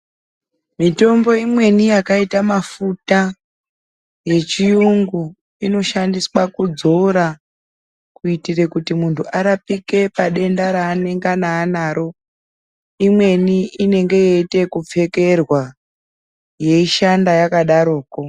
Mitombo imweni yakaita mafuta yechiyungu inoshandiswa kudzora kuitire kuti muntu arapike padenda ranengana anaro imweni inoite ekupfekerwa.